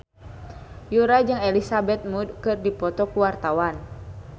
Yura jeung Elizabeth Moody keur dipoto ku wartawan